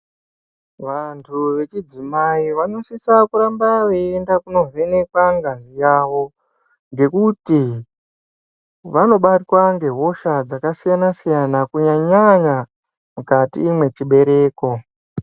Vantu wechidzimai vanosisa kuramba weinovhenekwa ngazi yawo ngekuti vanobatwa nehosha dzakasiyana siyana kunyanya-nyanya mukati mechibereko.